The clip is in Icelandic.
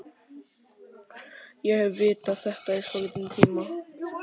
Ég hef vitað þetta í svolítinn tíma.